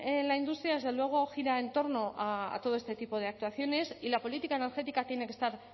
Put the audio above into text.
en la industria desde luego gira en torno a todo este tipo de actuaciones y la política energética tiene que estar